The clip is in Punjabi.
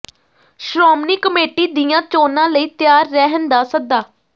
ਸ਼੍ਰੋਮਣੀ ਕਮੇਟੀ ਦੀਆਂ ਚੋਣਾਂ ਲਈ ਤਿਆਰ ਰਹਿਣ ਦਾ ਸੱਦਾ